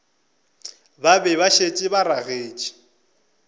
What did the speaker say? be ba šetše ba ragetše